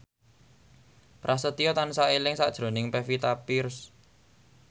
Prasetyo tansah eling sakjroning Pevita Pearce